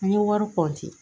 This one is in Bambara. An ye wari